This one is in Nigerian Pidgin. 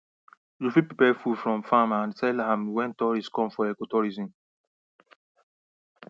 tourist visitors dey leave their hotels and hostel dey come watch how we process cassava